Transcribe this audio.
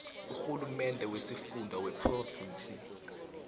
urhulumende wesifunda wephrovinsi